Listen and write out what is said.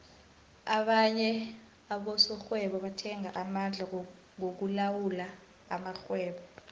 abanye abosokghwebo bathenga amandla wokulawula amakhgwebo